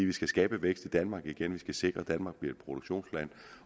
vi skal skabe vækst i danmark igen vi skal sikre at danmark bliver et produktionsland